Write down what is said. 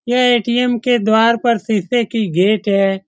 यह ए.टी.एम. के द्वार पर सीसे की गेट है।